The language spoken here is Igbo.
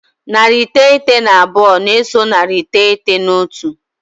Narị iteghete na abụọ na-eso narị iteghete na otu.